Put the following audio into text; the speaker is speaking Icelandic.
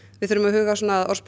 við þurfum að huga að orðspori